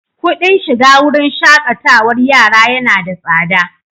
Kuɗin shiga wurin shaƙatarwar yara yana da tsada.